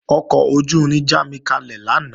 Ọkọ̀ ojú-irin jámikalẹ̀ lánàá